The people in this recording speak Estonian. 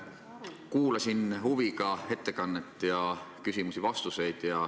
Kuulasin huviga ettekannet ja küsimusi-vastuseid.